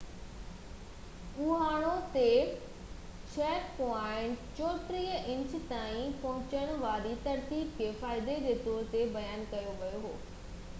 Ohio تي 6.34 inch تائين پهچڻ واري ترسيب کي فائدي جي طور تي بيان ڪيو ويو هو